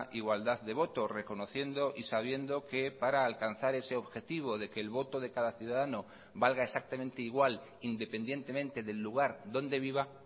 igualdad de voto reconociendo y sabiendo que para alcanzar ese objetivo de que el voto de cada ciudadano valga exactamente igual independientemente del lugar donde viva